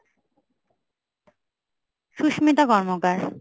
Susmita Karmakar.